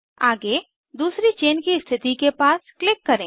आगे दूसरी चेन की स्थिति के पास क्लिक करें